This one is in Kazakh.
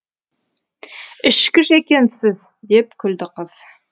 ішкіш екенсіз деп күлді қыз